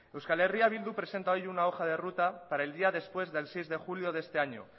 euskal herria bildu presenta hoy una hoja de ruta para el día después del seis de julio de este año